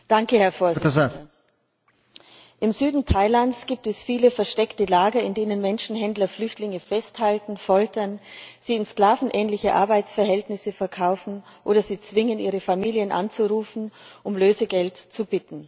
Herr Präsident! Im Süden Thailands gibt es viele versteckte Lager, in denen Menschenhändler Flüchtlinge festhalten, foltern, sie in sklavenähnliche Arbeitsverhältnisse verkaufen oder sie zwingen, ihre Familien anzurufen und um Lösegeld zu bitten.